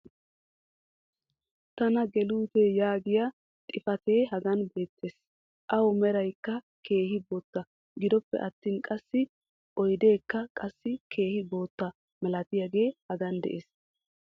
Tana geluutee yaagiya xifatee hagan beettees. Awu meraykka keehi bootta. gidoppe attin qassi oydeekka qassi keehi bootta malattiyagee hagan de'ees.